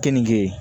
Keninge